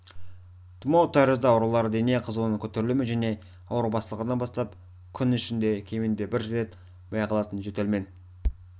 тұмау тәрізді аурулар дене қызуының көтерілуімен және ауру басталғаннан бастап күн ішінде кемінде бір рет байқалатын жөтелмен